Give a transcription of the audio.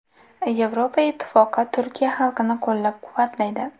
Yevropa Ittifoqi Turkiya xalqini qo‘llab-quvvatlaydi.